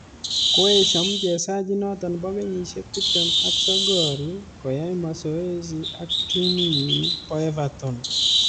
Koeshiaa mchezaji inoto bo kenyisiek tiptem ak sogol ko ai mazoezo ak timinyii bo evaton